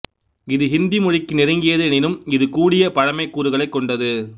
இது ஹிந்தி மொழிக்கு நெருங்கியது எனினும் இது கூடிய பழமைக் கூறுகளைக் கொண்டது